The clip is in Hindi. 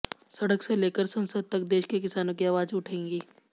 सड़क से लेकर संसद तक देश के किसानों की आवाज उठाएंगे